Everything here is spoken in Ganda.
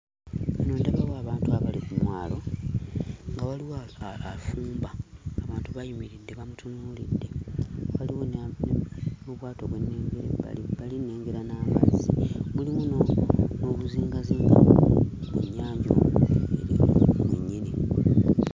Wano ndabawo abantu abali ku mwalo nga waliwo afumba. Abantu bayimiridde bamutunuulidde, waliwo ne n'obwato bwe nnengera ebbalibbali, nnengera n'amazzi. Mulimu n'obuzingazinga mu nnyanja omwo mwennyini.